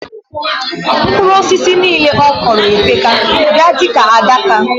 Mkpụru osisi nile okụro epeka bia dika adaka